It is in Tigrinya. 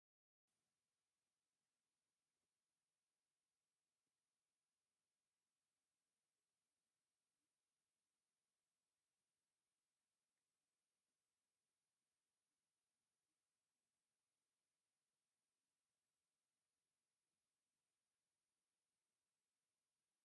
ጫማ ንደቂ ሰባት ካብ ጉድኣት ዝከላኸል እውን እኳ እንተኾነ በብዋኑን በቢጊዜኡን ብዝመፅእ ሓዱሽ ፋሽን ቅዲ ብዝተፈላለየ ሕብሪ፣ ቅርፂን ዲዛይንን ተመሪቱ ንመመላኽዒ ይጠቅም፡፡ ካብዘን ዝረኣያ ዘለዋ ጫማታትስ እታ ሽሮ ዓይነት ደስ ኢላትኒ...